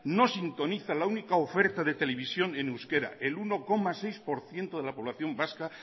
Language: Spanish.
no sintoniza la única oferta de televisión en euskera el uno coma seis por ciento de la población vasca